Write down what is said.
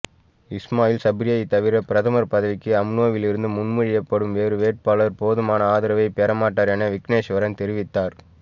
இஸ்மாயில் சப்ரியைத் தவிர பிரதமர் பதவிக்கு அம்னோவிலிருந்து முன்மொழியப்படும் வேறு வேட்பாளர் போதுமான ஆதரவை பெறமாட்டார் என விக்னேஸ்வரன் தெரிவித்தார்